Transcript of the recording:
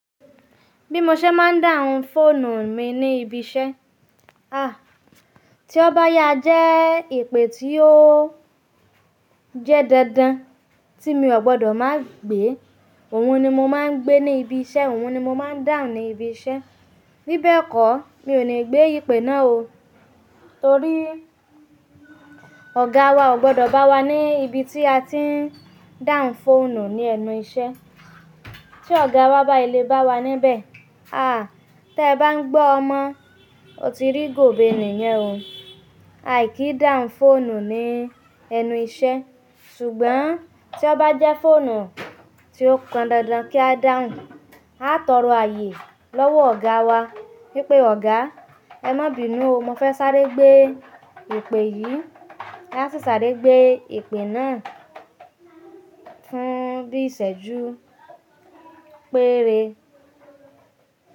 Bí mo ṣe máa ń dá àwọn fóònù mi ní ibi iṣẹ́. Tí ó bá yá jẹ́ ìpè tí ó jẹ́ dandan tí mi ò gbọdọ̀ má gbé, òun ni mo máa ń gbé ní ibi iṣẹ́, òun ni mo máa ń dáhùn ní ibi iṣẹ́. Bíbẹ̀ kọ̀, mi ò ní gbé ìpè náà o. Torí ọ̀gá wa ò gbọdọ̀ bá wa ní ibi tí a ti ń dáhùn fóònù ní ẹnu iṣẹ́. Tí ọ̀gá wa bá le bá wa níbẹ̀, à, tí ẹ bá ń gbọ́ ọmọ, o ti rí gobe nìyẹn o. Àìkí dáhùn fóònù ní ẹnu iṣẹ́. Ṣùgbọ́n tí ó bá jẹ́ fóònù tí ó pọn dandan kí a dáhùn, a tóró ààyè lọ́wọ́ ọ̀gá wa wípé "Ọ̀gá, ẹ má bínu o, mo fẹ́ sáré gbé ìpè yìí." A sì sáré gbé ìpè náà fún bí ìṣẹ́jú péré.